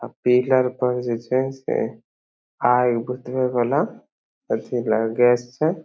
अ pillar पर जे हे आग बुतवे वाला अथी ल गैस छे।